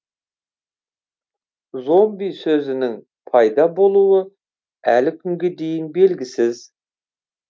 зомби сөзінің пайда болуы әлі күнге дейін белгісіз